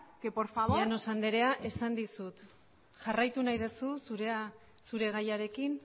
que por favor llanos andrea esan dizut jarraitu nahi duzu zure gaiarekin